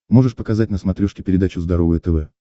можешь показать на смотрешке передачу здоровое тв